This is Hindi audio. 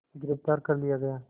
गिरफ़्तार कर लिया गया